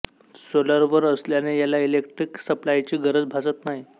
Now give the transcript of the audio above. सोलरवर असल्याने याला इलेक्ट्रिक सप्लायची गरज भासत नाही